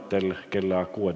Istungi lõpp kell 16.28.